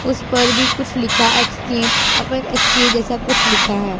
उस पर भी कुछ लिखा एक्सचेंज अमर एक्सचेंज ऐसा कुछ लिखा है।